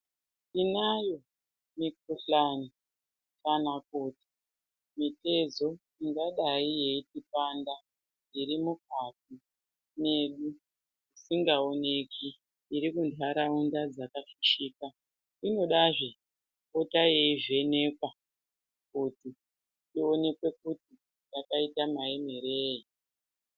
Tinayo mikhuhlani kana kuti mitezo ingadai yeitipanda iri mukati medu isingaoneki iri munharaunda dzakafishika inodazve kupota yeivhenekwa kuti ionekwe kuti yakaita maemerei.